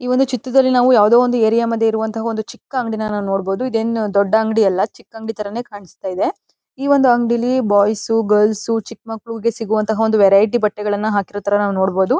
ಈ ಒಂದು ಚಿತ್ರದಲ್ಲಿ ನಾವು ಯಾವುದೊ ಒಂದು ಏರಿಯಾ ಮಧ್ಯೆ ಇರುವಂತಹ ಒಂದು ಚಿಕ್ಕ ಅಂಗಡಿನ ನೋಡಬಹುದು ಇದೇನು ದೊಡ್ಡ ಅಂಗಡಿಯಲ್ಲ ಚಿಕ್ಕ ಅಂಗಡಿ ತರಾನೇ ಕಾಣಿಸ್ತಾ ಇದೆ ಈ ಒಂದು ಅಂಗಡಿಲಿ ಬಾಯ್ಸ್ ಗರ್ಲ್ಸ್ ಚಿಕ್ ಮಕ್ಕಳಿಗೆ ಸಿಗುವಂತಹ ವೆರೈಟಿ ಬಟ್ಟೆಗಳನ್ನ ಹಾಕಿರೋ ತರ ನಾವು ನೋಡಬಹುದು.